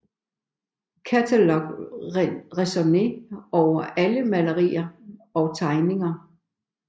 Catalogue raisonné over alle malerier og tegninger